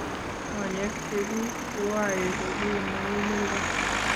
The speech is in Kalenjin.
konyek cheguk koae kopir muguleldo